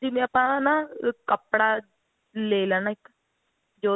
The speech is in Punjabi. ਜਿਵੇਂ ਆਪਾਂ ਹਣਾ ਕੱਪੜਾ ਲੈ ਲੈਣਾ ਇੱਕ ਜੋ